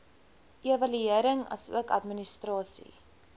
evaluering asook administrasie